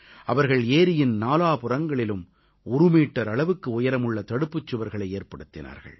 அவர்கள் ஏரியின் நாலாபுறங்களிலும் ஒரு மீட்டர் அளவுக்கு உயரமுள்ள தடுப்புச்சுவர்களை ஏற்படுத்தினார்கள்